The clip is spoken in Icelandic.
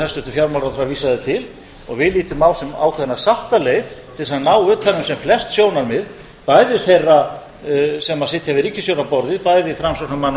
hæstvirtur fjármálaráðherra vísaði til og við litum á sem ákveðna sáttaleið til þess að ná utan um sem flest sjónarmið bæði þeirra sem sitja við ríkisstjórnarborðið bæði framsóknarmanna og